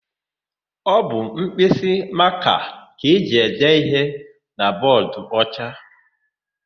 Ọ bụ mkpịsịmakaa ka e ji ede íhé na bọọdụocha.